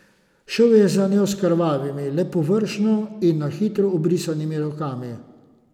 Šel je za njo s krvavimi, le površno in na hitro obrisanimi rokami.